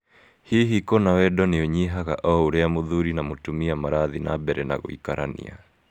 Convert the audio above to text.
Hihi kũna wendo nĩ ũnyihaga o ũrĩa mũthuri na mũtumia marathiĩ na mbere gũikarania?